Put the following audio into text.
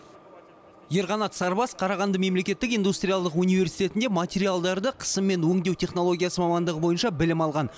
ерқанат сарбас қарағанды мемлекеттік индустриалдық университетінде материалдарды қысыммен өңдеу технологиясы мамандығы бойынша білім алған